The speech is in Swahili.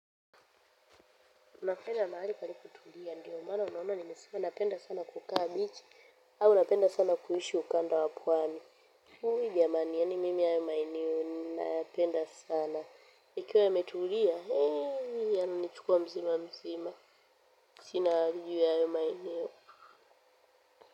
Napenda mahali palipotulia ndio maana unaona nimesima napenda sana kukaa bichi au napenda sana kuishi ukanda wa pwani jamani yaani mim haya maeneo nayapenda sana, yakiwa yametulia yananichukua mzima mzima sina juu ya hayo maeneo.